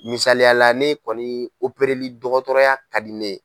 Misaliyala ne kɔni opereli dɔgɔtɔrɔya ka di ne ye.